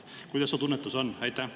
Kuidas sinu tunnetus on?